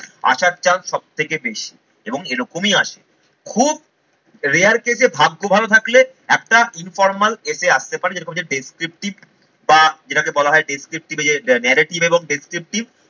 আসার chance সব থেকে বেশি এবং এরকমই আসে। খুব rare case এ ভাগ্য ভালো থাকলে একটা informal essay আসতে পারে যেরকম হচ্ছে descriptive বা যেটাকে বলা হয় descriptive যে narrative এবং descriptive